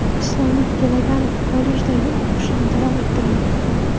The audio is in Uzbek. Islombek To‘laganov kollejdagi o‘qishini davom ettirmoqda.